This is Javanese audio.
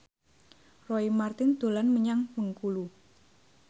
Roy Marten dolan menyang Bengkulu